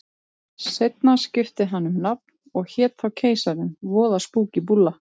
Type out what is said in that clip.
Seinna skipti hann um nafn og hét þá Keisarinn, voða spúkí búlla.